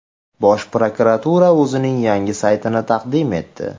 Bosh prokuratura o‘zining yangi saytini taqdim etdi.